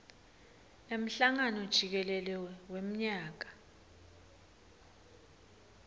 emhlangano jikelele wemnyaka